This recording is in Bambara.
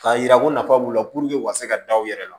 K'a yira ko nafa b'u la u ka se ka da u yɛrɛ la